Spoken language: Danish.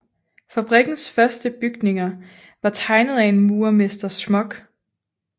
Fabrikkens første bygninger var tegnet af en murermester Schmock